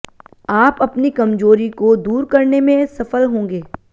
आप अपनी कमजोरी को दूर करने में सफल होंगे